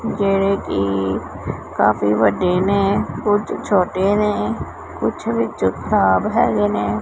ਜਿਹੜੇ ਕਿ ਕਾਫੀ ਵੱਡੇ ਨੇ ਕੁਛ ਛੋਟੇ ਨੇ ਕੁਛ ਵਿੱਚੋ ਖਰਾਬ ਹੈਗੇ ਨੇ।